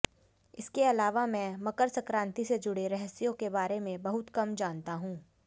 इसके अलावा मैं मकर संक्रांति से जुड़े रहस्यों के बारे में बहुत कम जानता हूं